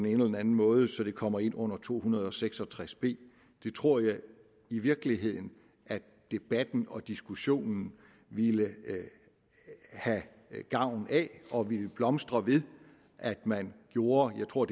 eller den anden måde så det kommer ind under § to hundrede og seks og tres b det tror jeg i virkeligheden at debatten og diskussionen ville have gavn af og ville blomstre ved at man gjorde jeg tror